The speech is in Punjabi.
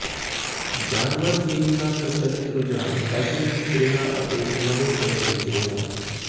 ਜਾਨਵਰ ਥੀਮ ਦਾ ਪ੍ਰਚਲਿਤ ਰੁਝਾਨ ਫੈਸ਼ਨ ਵਿਚ ਰਿਹਾ ਅਤੇ ਇਕ ਨਵੇਂ ਸਮੇਂ ਵਿਚ ਰਿਹਾ